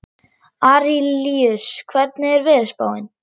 Arilíus, hvernig er veðurspáin?